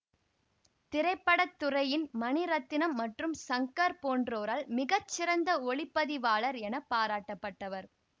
திரைப்பட துறையின் மணிரத்தினம் மற்றும் சங்கர் போன்றோரால் மிக சிறந்த ஒளி பதிவாளர் என பாராட்டப்பட்டவர்